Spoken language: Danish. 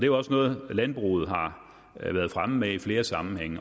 jo også noget landbruget har været fremme med i flere sammenhænge